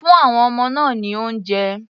Fún àwon ọmọ náà ní oúnjẹ.